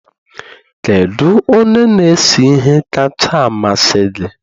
Kedu onye na-ese ihe kacha amasị gị?